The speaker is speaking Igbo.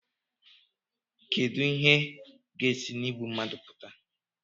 kedu ihe ga-esi na igbu mmadụ pụta